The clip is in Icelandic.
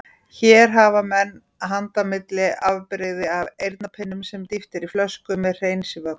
Hér hafa menn handa milli afbrigði af eyrnapinnum sem dýft er í flöskur með hreinsivökva.